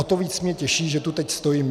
O to víc mě těší, že tu teď stojím.